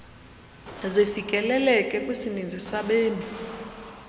zifikeleleke kwisininzi sabemi